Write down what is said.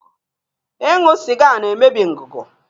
Ịṅụ sịga na-emebi ngụgụ.